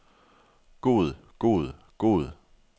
god god god